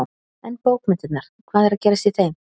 En bókmenntirnar, hvað er að gerast í þeim?